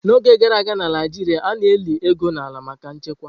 N'oge gara aga na Naijiria, a na-eli ego n'ala maka nchekwa.